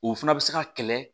O fana bɛ se ka kɛlɛ